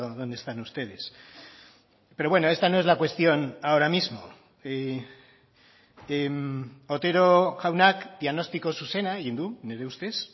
donde están ustedes pero bueno esta no es la cuestión ahora mismo otero jaunak diagnostiko zuzena egin du nire ustez